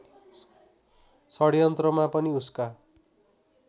षड्यन्त्रमा पनि उसका